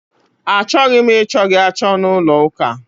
A chọghị m ị chọ gị achọ n'ụlọ ụka!